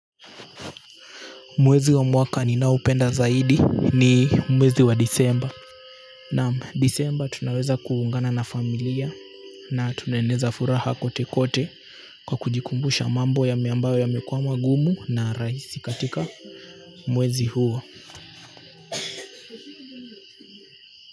Mwezi wa mwaka ninaopenda zaidi ni mwezi wa Desemba. Naam Desemba tunaweza kuungana na familia na tunaeneza furaha kwote kwote kwa kujikumbusha mambo yami ambayo yamekuwa magumu na rahisi katika mwezi huo.